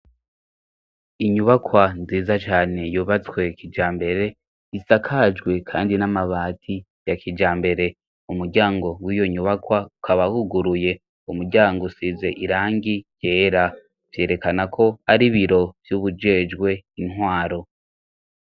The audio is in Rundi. Inyubakwa nziza cane yubatswe kija mbere isakajwe kandi n'amabati ya kijambere. Umuryango w'iyo nyubakwa, ukaba wuguruye. Umuryango usize irangi ryera. Vyerekana ko ari biro vy'uwujejwe intwaro.